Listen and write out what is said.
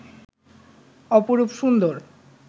অপরূপ সুন্দর